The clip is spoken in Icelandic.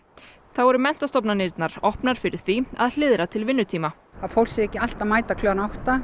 þá eru menntastofnanirnar opnar fyrir því að hliðra til vinnutíma að fólk sé ekki alltaf að mæta klukkan átta